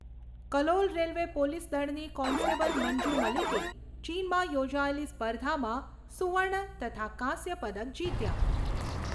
Kalol railway police દળની constable Manju મલિકે ચીનમાં યોજાયેલી સ્પર્ધામાં સુવર્ણ તથા કાંસ્ય પદક જીત્યા.